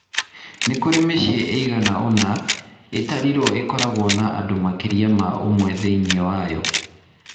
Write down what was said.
Nĩ kũrĩ mĩciĩ ĩigana ũna ĩtaarĩirio ĩkoragwo na andũ makĩria ma ũmwe thĩinĩ wayo.